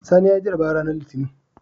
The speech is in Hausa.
Sani yayi jarabawa ranar litinin